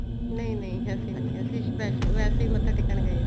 ਨਹੀਂ ਨਹੀਂ ਅਸੀਂ ਨੀ ਅਸੀਂ ਵੈਸੇ ਹੀ ਮੱਥਾ ਟੇਕਣ ਗਏ ਸੀ